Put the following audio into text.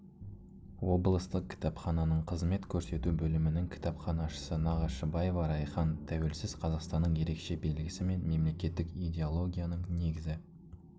облыстық кітапхананың қызмет көрсету бөлімінің кітапханашысы нағашыбаева райхан тәуелсіз қазақстанның ерекше белгісі мен мемлекеттік идеологияның негізі